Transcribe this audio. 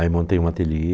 Aí montei um ateliê